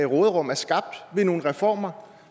råderum er skabt ved nogle reformer